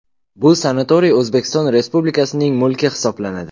Bu sanatoriy O‘zbekiston Respublikasining mulki hisoblanadi.